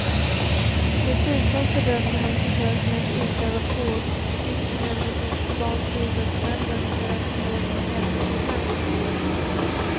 Dessutom fördömde han försöken att utöva påtryckningar mot de kubanska idrottsmännen för att förmå dem att lämna sitt land.